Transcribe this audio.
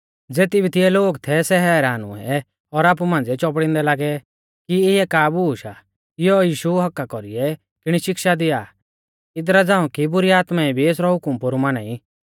ज़ेती भी तिऐ लोग थै सै हैरान हुऐ और आपु मांझ़िऐ चौपड़िंदै लागै कि इऐ का बूश आ इयौ यीशु हक्क्का कौरीऐ किणी शिक्षा दिया इदरा झ़ांऊ कि बुरी आत्माऐं भी एसरौ हुकम पोरु माना ई